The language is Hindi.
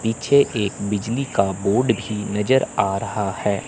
पीछे एक बिजली का बोर्ड भी नजर आ रहा है।